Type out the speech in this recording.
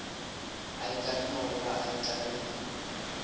a ikanne goba a itlamile